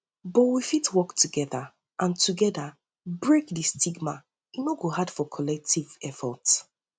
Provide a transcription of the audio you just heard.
but we fit work together and together and break di stigma e no go hard for collective efforts